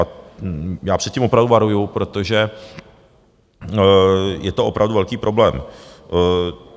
A před tím opravdu varuji, protože je to opravdu velký problém.